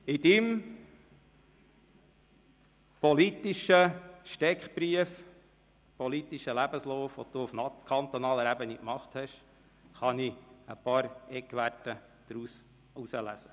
Aus Ihrem politischen Steckbrief, Ihrem politischen Lebenslauf, den Sie auf kantonaler Ebene hinter sich haben, kann ich ein paar Eckwerte herauslesen.